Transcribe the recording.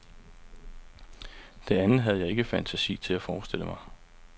Det andet havde jeg ikke fantasi til at forestille mig.